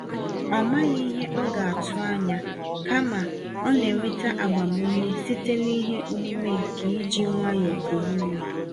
Ọ maghị ihe ọ ga-atụ anya, kama, ọ nenweta agbam ume site n'ihe omume nke iji nwayọọ kuru ume